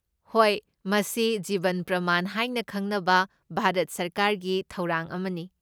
ꯍꯣꯏ, ꯃꯁꯤ ꯖꯤꯕꯟ ꯄ꯭ꯔꯃꯥꯟ ꯍꯥꯏꯅ ꯈꯪꯅꯕ ꯚꯥꯔꯠ ꯁꯔꯀꯥꯔꯒꯤ ꯊꯧꯔꯥꯡ ꯑꯃꯅꯤ꯫